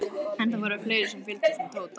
En það voru fleiri sem fylgdust með Tóta.